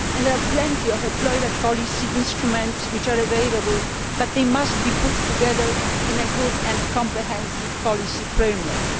There are plenty of employment policy instruments available, but they must be put together in a good and comprehensive policy framework.